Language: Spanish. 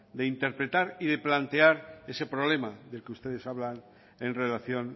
de interpretar y de plantear ese problema del que ustedes hablan en relación